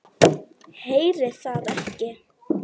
Heyri það ekki.